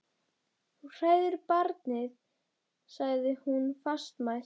Þú hræðir barnið, sagði hún fastmælt.